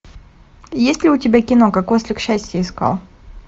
есть ли у тебя кино как ослик счастье искал